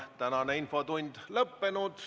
Tänane infotund on lõppenud.